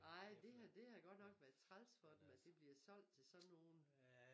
Ej det det havde godt nok været træls for dem at det bliver solgt til sådan nogen